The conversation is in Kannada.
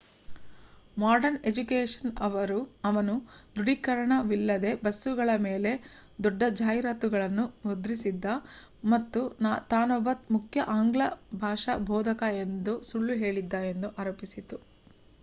ಮಾಡರ್ನ್ ಎಜುಕೇಷನ್ ಅವನು ದೃಢೀಕರಣವಿಲ್ಲದೇ ಬಸ್ಸುಗಳ ಮೇಲೆ ದೊಡ್ಡ ಜಾಹೀರಾತುಗಳನ್ನು ಮುದ್ರಿಸಿದ್ದ ಮತ್ತು ತಾನೊಬ್ಬ ಮುಖ್ಯ ಆಂಗ್ಲ ಭಾಷಾ ಬೋಧಕ ಎಂದು ಸುಳ್ಳು ಹೇಳಿದ್ದ ಎಂದು ಅರೋಪಿಸಿತು